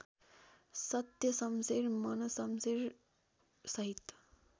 Satyashamsher मनशमशेरसहित